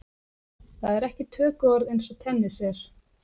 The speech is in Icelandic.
Það er ekki tökuorð eins og tennis er.